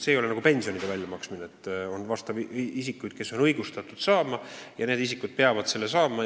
See ei ole nagu pensionide väljamaksmine – et kõik, kes on õigustatud pensioni saama, peavad selle raha saama.